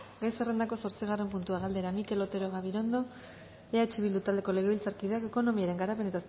gai zerrendako zortzigarren puntua galdera mikel otero gabirondo eh bildu taldeko legebiltzarkideak ekonomiaren garapen